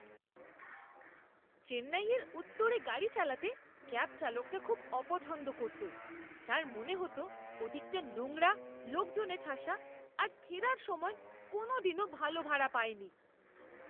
চেন্নাইয়ের উত্তরে গাড়ি চালাতে ক্যাব চালকটা খুব অপছন্দ করত। তার মনে হত ওদিকটা নোংরা, লোকজনে ঠাসা আর ফেরার সময় কোনোদিনও ভালো ভাড়া পায়নি।